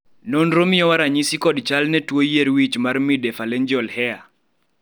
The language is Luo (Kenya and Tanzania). nonro miyowa ranyisi kod chal gi ne tuo yier wich mar midephalangeal hair?